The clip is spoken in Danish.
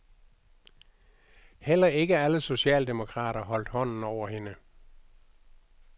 Heller ikke alle socialdemokrater holdt hånden over hende.